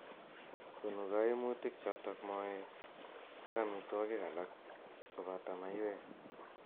Konu kaimutik chotok moet ak amitwokik alak koboto maiywek.